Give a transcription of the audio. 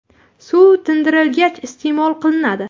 Suv tindirilgach, iste’mol qilinadi.